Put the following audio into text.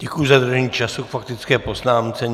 Děkuji za dodržení času k faktické poznámce.